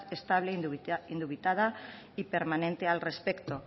estable indubitada y permanente al respecto